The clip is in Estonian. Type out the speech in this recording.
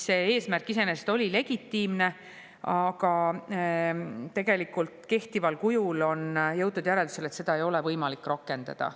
See eesmärk iseenesest oli legitiimne, aga on jõutud järeldusele, et kehtival kujul ei ole võimalik seda rakendada.